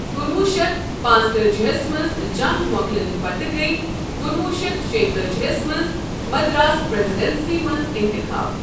کُنوُہ شیتھ پانٛژتأجیہس منٛز جنگ مۄکلنہٕ پتہٕ گٔیہِ کُنوُہ شیتھ شٚےتأجیہس منٛز مدراس پریذیڈنسی منٛز ااِنتخاب ۔